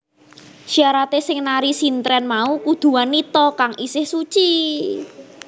Syaraté sing nari sintren mau kudu wanita kang isih suci